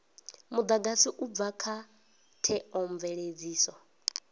mudagasi u bva kha theomveledziso